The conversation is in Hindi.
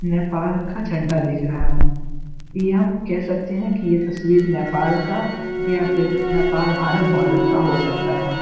नेपाल का झंडा दिख रहा है ये हम कह सकते है की ये तस्वीर नेपाल का या फिर नेपाल भारत बॉर्डर का हो सकता है।